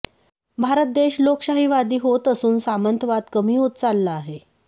भारत देश लोकशाहीवादी होत असून सामंतवाद कमी होत चालला आहे